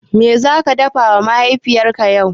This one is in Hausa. Me zaka dafawa Mahaifinka yau?